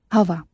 Hava.